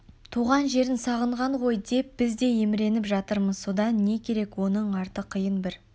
туған жерін сағынған ғой деп біз де еміреніп жатырмыз содан не керек оның арты қиын бір